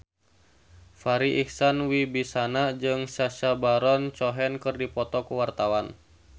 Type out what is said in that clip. Farri Icksan Wibisana jeung Sacha Baron Cohen keur dipoto ku wartawan